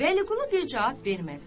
Vəliqulu bircə cavab vermədi.